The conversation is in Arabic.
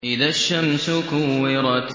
إِذَا الشَّمْسُ كُوِّرَتْ